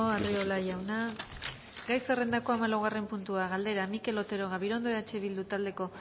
arriola jauna gai zerrendako hamalaugarren puntua galdera mikel otero gabirondo eh bildu taldeko